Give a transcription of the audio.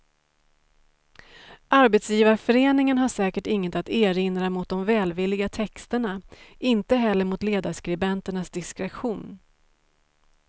Arbetsgivarföreningen har säkert inget att erinra mot de välvilliga texterna, inte heller mot ledarskribenternas diskretion.